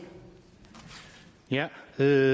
hvad